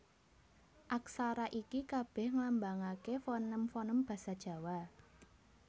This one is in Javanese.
Aksara iki kabèh nglambangaké foném foném basa Jawa